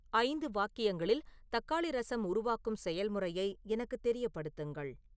ஐந்து வாக்கியங்களில் தக்காளி ரசம் உருவாக்கும் செயல்முறையை எனக்குத் தெரியப்படுத்துங்கள்